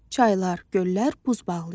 Çaylar, göllər buz bağlayır.